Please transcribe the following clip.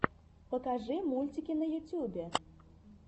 покажи мультики на ютюбе